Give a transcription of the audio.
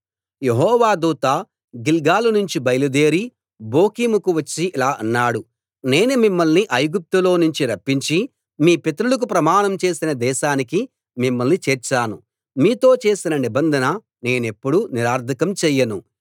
యెహోవా దూత గిల్గాలు నుంచి బయలుదేరి బోకీముకు వచ్చి ఇలా అన్నాడు నేను మిమ్మల్ని ఐగుప్తులో నుంచి రప్పించి మీ పితరులకు ప్రమాణం చేసిన దేశానికి మిమ్మల్ని చేర్చాను మీతో చేసిన నిబంధన నేనెప్పుడూ నిరర్ధకం చేయను